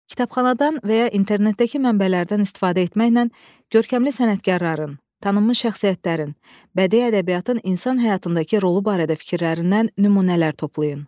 Kitabxanadan və ya internetdəki mənbələrdən istifadə etməklə görkəmli sənətkarların, tanınmış şəxsiyyətlərin, bədii ədəbiyyatın insan həyatındakı rolu barədə fikirlərindən nümunələr toplayın.